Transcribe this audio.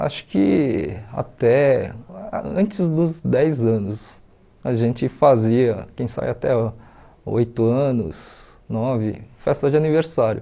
Acho que até antes dos dez anos, a gente fazia, quem sai até oito anos, nove, festa de aniversário.